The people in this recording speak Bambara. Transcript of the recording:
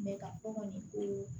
ka fɔ kɔni ko